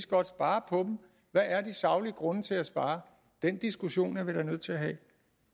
godt spare på dem hvad er de saglige grunde til at spare den diskussion er vi da nødt til at have